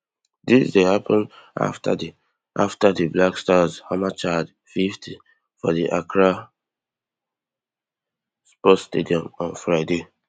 dis dey happun afta di afta di black stars hammer chad fifty for di accra sports stadium on friday